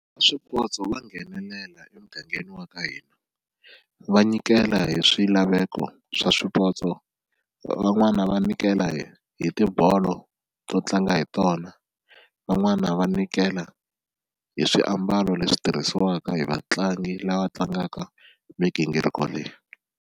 Swipotso va nghenelela emugangeni wa ka hina va nyikela hi swilaveko swa swipotso van'wana va nyikela hi hi tibolo to tlanga hi tona, van'wana va nyikela hi swiambalo leswi tirhisiwaka hi vatlangi lava tlangaka migingiriko leyi.